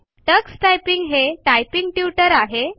Tux typing हे typing tutor आहे